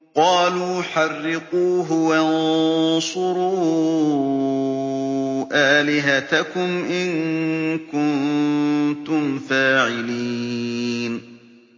قَالُوا حَرِّقُوهُ وَانصُرُوا آلِهَتَكُمْ إِن كُنتُمْ فَاعِلِينَ